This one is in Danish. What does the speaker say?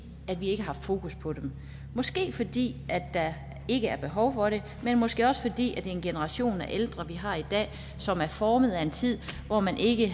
vi ikke har haft fokus på dem måske fordi der ikke er behov for det men måske også fordi det er en generation af ældre vi har i dag som er formet af en tid hvor man ikke